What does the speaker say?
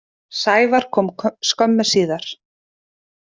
Sævar kom skömmu síðar.